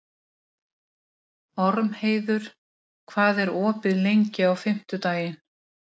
Ormheiður, hvað er opið lengi á fimmtudaginn?